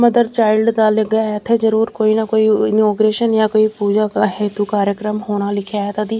mother child ਦਾ ਲੱਗਿਆ ਹੋਇਆ ਇੱਥੇ ਜ਼ਰੂਰ ਕੋਈ ਨਾ ਕੋਈ ਇਨੋਗਰੇਸ਼ਨ ਜਾਂ ਕੋਈ ਪੂਜਾ ਦਾ ਹੈ ਤੋਂ ਕਾਰੀਕਰਮ ਹੋਣਾ ਲਿਖਿਆ ਹੈਗਾ ਕਦੀ --